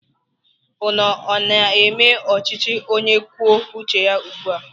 Ụnụ ọ na-eme ọchịchị onye kwuo uche ya ugbua?